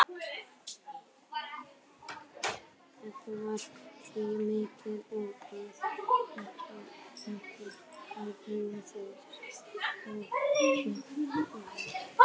það var því mikilvægt að það þekktist á búningi sínum og ytra útliti